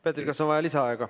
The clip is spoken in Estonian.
Peeter, kas on vaja lisaaega?